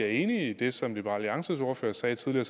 enig i det som liberal alliances ordfører sagde tidligere